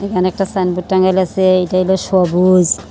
এখানে একটা সাইনবোর্ড টাঙায় রাখসে এইটা হইলো সবুজ।